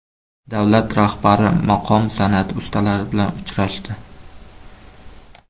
Davlat rahbari maqom san’ati ustalari bilan uchrashdi.